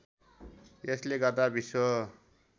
यसले गर्दा विश्व